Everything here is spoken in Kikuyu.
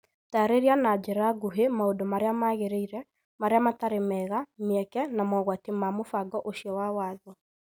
Taarĩria na njĩra nguhĩ maũndũ marĩa magĩrĩire, marĩa matarĩ mega, mĩeke, na mogwati ma mũbango ũcio wa watho.